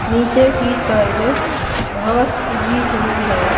नीचे की साइड घास उगी हुई है।